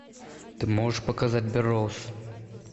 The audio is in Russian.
ты можешь показать берроуз